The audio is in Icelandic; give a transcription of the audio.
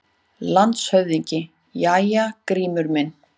LANDSHÖFÐINGI: Jæja, Grímur minn!